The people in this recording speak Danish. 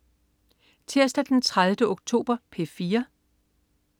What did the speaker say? Tirsdag den 30. oktober - P4: